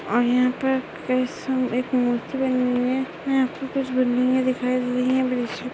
और यहाँ पे पेसन एक मूर्ति बनी हुई है और यहाँ पे कुछ बिल्डिंगे दिखाई दे रही है ब्रिज पे--